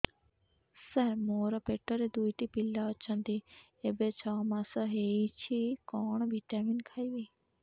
ସାର ମୋର ପେଟରେ ଦୁଇଟି ପିଲା ଅଛନ୍ତି ଏବେ ଛଅ ମାସ ହେଇଛି କଣ ଭିଟାମିନ ଖାଇବି